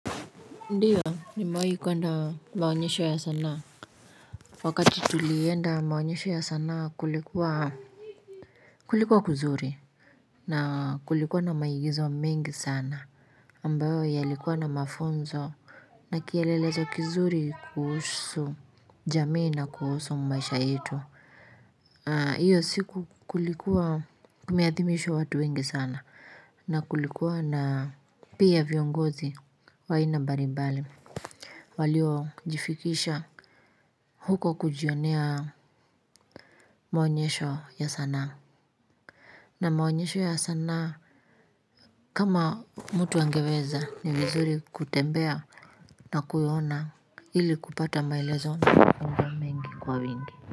Ndiyo nimewai kuenda maonyesho ya sanaa wakati tulienda maonyesho ya sanaa kulikuwa kulikuwa kuzuri na kulikuwa na maigizo mengi sana ambayo yalikuwa na mafunzo na kielelezo kuzuri kuhusu jamii na kuhusu maisha yetu hiyo siku kulikuwa kumeadhimishwa watu wengi sana na kulikuwa na pia viongozi wa aina mbali mbali walio jifikisha huko kujionea maonyesho ya sana na maonyesho ya sana kama mtu angeweza ni vizuri kutembea na kuona ili kupata maelezo na mafunzo mengi kwa wingi.